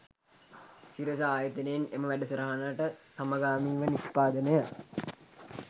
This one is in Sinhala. සිරස ආයතනයෙන් එම වැඩසටහනට සමගාමීව නිෂ්පාදනය